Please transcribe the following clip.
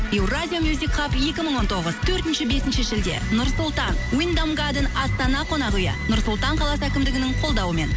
евразия екі мың он тоғыз төртінші бесінші шілде нұр сұлтан астана қонақ үйі нұр сұлтан қаласы әкімдігінің қолдауымен